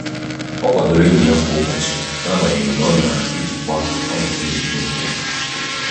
o kwadoro enyi ya kwa ụbọchị n'agbanyeghị na ọ na-ejikwa ọnọdụ nrụgide nke ya.